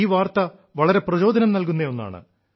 ഈ വാർത്ത വളരെ പ്രചോദനം നൽകുന്ന ഒന്നാണ്